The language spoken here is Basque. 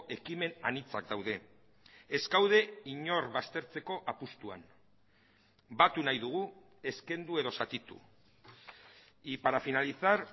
ekimen anitzak daude ez gaude inor baztertzeko apustuan batu nahi dugu ez kendu edo zatitu y para finalizar